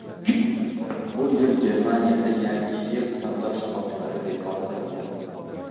Bu yil Germaniyada Yangi yil savdo shoxobchalari bekor qilindi.